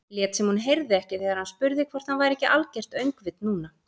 Lét sem hún heyrði ekki þegar hann spurði hvort hann væri ekki algert öngvit núna.